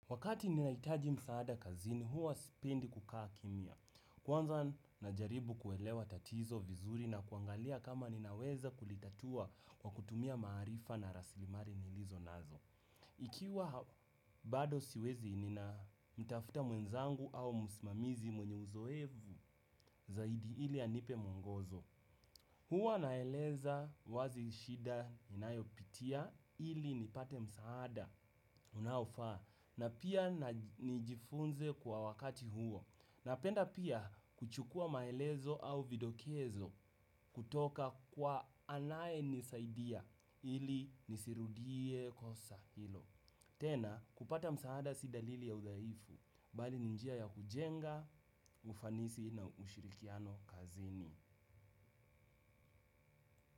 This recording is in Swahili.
Wakati ninaitaji msaada kazini, huwa sipendi kukaa kimia. Kwanza najaribu kuelewa tatizo vizuri na kuangalia kama ninaweza kulitatua kwa kutumia maarifa na raslimali nilizo nazo. Ikiwa bado siwezi nina mtafuta mwenzangu au msimamizi mwenye uzoefu zaidi ili anipe mwongozo. Hua naeleza wazi shida ninayo pitia ili nipate msaada unaofaa. Na pia nijifunze kwa wakati huo. Napenda pia kuchukua maelezo au vidokezo kutoka kwa anaye nisaidia ili nisirudie kosa hilo. Tena kupata msaada si dalili ya udhaifu. Bali ni njia ya kujenga ufanisi na ushirikiano kazini.